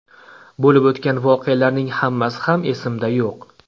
Bo‘lib o‘tgan voqealarning hammasi ham esimda yo‘q.